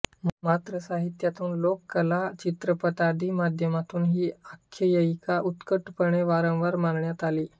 मात्र साहित्यातून लोककला कला चित्रपटादी माध्यमांतून ही आख्यायिका उत्कटपणे वारंवार मांडण्यात आली आहे